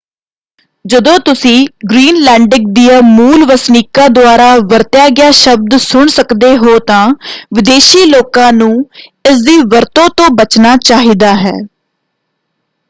ਜਦੋਂ ਤੁਸੀਂ ਗ੍ਰੀਨਲੈਂਡਿਕ ਦਿਆਂ ਮੂਲ ਵਸਨੀਕਾਂ ਦੁਆਰਾ ਵਰਤਿਆ ਗਿਆ ਸ਼ਬਦ ਸੁਣ ਸਕਦੇ ਹੋ ਤਾਂ ਵਿਦੇਸ਼ੀ ਲੋਕਾਂ ਨੂੰ ਇਸ ਦੀ ਵਰਤੋਂ ਤੋਂ ਬਚਨਾ ਚਾਹੀਦਾ ਹੈ।